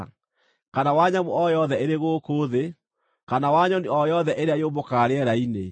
kana wa nyamũ o yothe ĩrĩ gũkũ thĩ, kana wa nyoni o yothe ĩrĩa yũmbũkaga rĩera-inĩ,